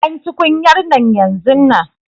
Ban tukunyar nan yanzun nan!